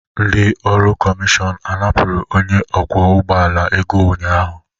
Ndị ọrụ kọmishọn a napụrụ onye ọkwọ ụgbọ ala ego ụnyahụ?